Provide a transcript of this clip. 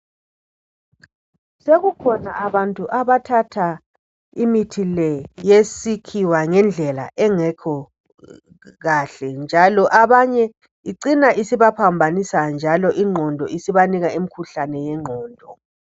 Sekukhona abantu abathatha imithi le yesikhiwa ngendlela engekho kahle. Njalo abanye icina isibaphambanisa ingqondo njalo isibanika imkhuhlane yengqondo.